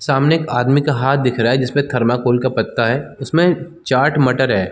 सामने एक आदमी का हाथ दिख रहा है जिसमे थर्माकोल का पत्ता है उसमे चाट मटर है।